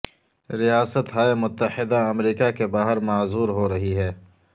ریاست ہائے متحدہ امریکہ کے باہر معذور ہو رہی ہے